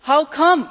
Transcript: How come?